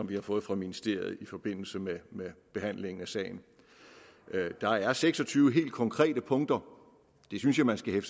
vi har fået fra ministeriet i forbindelse med behandlingen af sagen der er seks og tyve helt konkrete punkter det synes jeg man skal